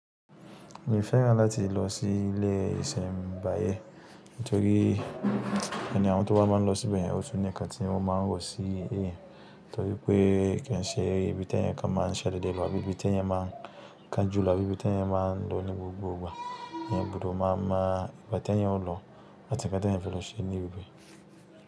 Mi o fẹ́ràn láti lọ sí ilé ìṣẹ̀nbáyé, nítorí ẹni àwọn tó bá máa ń lọ síbẹ̀ yẹn, ó tún ní ǹkan tí wọ́n máa ń rò sí èèyàn, nítorí pé kí ṣe ibi tí èèyàn kan máa ń ṣàdédé lọ bí ibi tí èèyàn máa ń kanjú lọ àbí ibi tí èèyàn máa ń lọ ní gbogbo ìgbà. Èèyàn gbọdọ̀ máa mọ ìgbà tí èèyàn ó lọ àti ǹkan tí èèyàn fẹ́ lọ ṣe ní ibẹ.